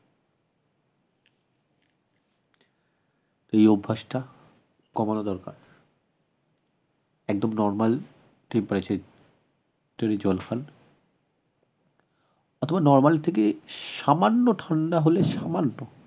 এই অভ্যাসটা কমানো দরকার একদম normal temperature এ তৈরী জল খান অথবা normal এর থেকে সামান্য ঠান্ডা হলে সামান্য